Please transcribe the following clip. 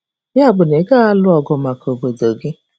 Yabụ na ị gaghị alụ ọgụ maka obodo gị?